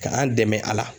Ka an dɛmɛ a la